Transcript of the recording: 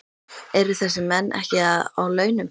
Eru þessir menn ekki að á launum?